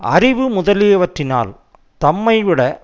அறிவு முதலியவற்றினால் தம்மை விட